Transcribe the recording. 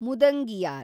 ಮುದಂಗಿಯಾರ್